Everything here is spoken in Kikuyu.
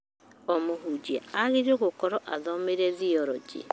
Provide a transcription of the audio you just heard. O mũhunjia aagĩrĩirwo gũkorwo athomeire thioronjĩ